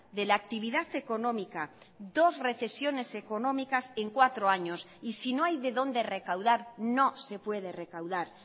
de la actividad económica dos recesiones económicas en cuatro años y si no hay de dónde recaudar no se puede recaudar